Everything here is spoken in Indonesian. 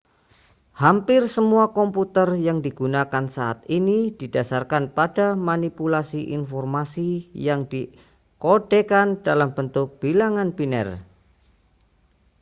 hampir semua komputer yang digunakan saat ini didasarkan pada manipulasi informasi yang dikodekan dalam bentuk bilangan biner